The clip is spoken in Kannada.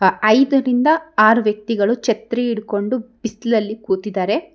ಆ ಐದರಿಂದ ಆರ್ ವ್ಯಕ್ತಿಗಳು ಛತ್ರಿ ಹಿಡಕೊಂಡು ಬಿಸಲಲ್ಲಿ ಕುತಿದಾರೆ.